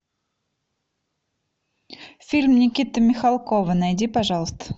фильм никиты михалкова найди пожалуйста